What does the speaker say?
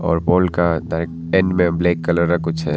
और वॉल के black colour का कुछ है।